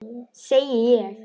Segi ég.